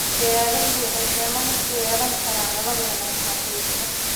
Beeruhu waxay saamayn ku yeelan karaan nolol wanaagsan qoyska.